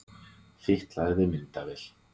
Fitlaði við myndavél